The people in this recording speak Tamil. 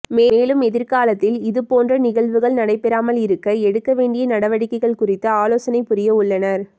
மேலும் எதிர்காலத்தில் இதுபோன்ற நிகழ்வுகள் நடைபெறாமல் இருக்க எடுக்க வேண்டிய நடவடிக்கைகள் குறித்து ஆலோசனை புரிய உள்ளனர்